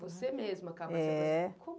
Você mesma acaba se aproximando. É